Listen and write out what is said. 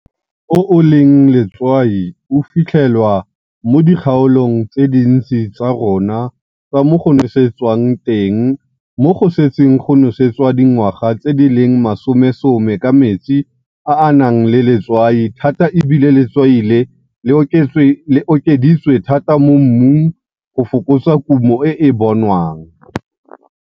O o leng letswai o filthelwa mo dikgaolong tse dintsi tsa rona tsa mo go nosetswang teng mo go setseng go nosetswa dingwaga tse di leng masomesome ka metsi a a nang letswai thata e bile letswai le okeditswe thata mo mmung go fokotsa kumo e e bonwang.